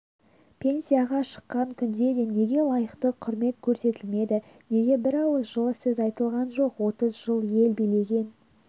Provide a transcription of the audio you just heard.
пенсияға шыққан күнде де неге лайықты құрмет көрсетілмеді неге бірауыз жылы сөз айтылған жоқ отыз жыл ел билеген